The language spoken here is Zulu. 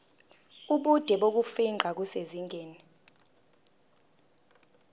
ubude bokufingqa kusezingeni